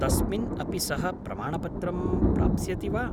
तस्मिन् अपि सः प्रमाणपत्रं प्राप्स्यति वा?